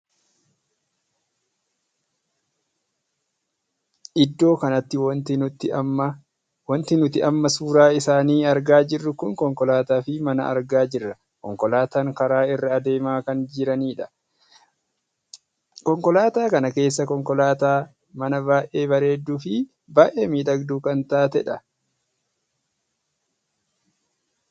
Iddoo kanatti wanti nuti amma suuraa isaanii argaa jirru kun konkolaataa fi mana argaa jirra. konkolaataan karaa irra adeemaa kan jiranidha. konkolaataa kan keessaa konkolaataa mana baay'ee bareedduu fi baay'ee miidhagduu kan taateedha.